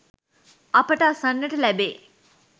අපට අසන්නට ලැබේ